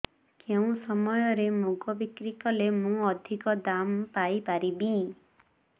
କେଉଁ ସମୟରେ ମୁଗ ବିକ୍ରି କଲେ ମୁଁ ଅଧିକ ଦାମ୍ ପାଇ ପାରିବି